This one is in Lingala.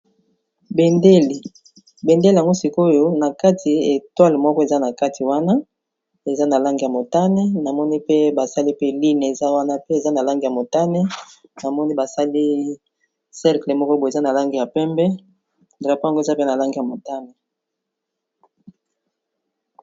Bendele yango sik'oyo na kati étoile moko eza na kati wana eza na langi ya motane, na moni pe ba sali pe ligne eza wana pe eza na langi ya motane na moni ba sali cercle moko boye eza na langi ya pembe. Drapeau eza pe na langi ya motane .